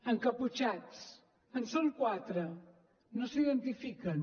encaputxats en són quatre no s’identifiquen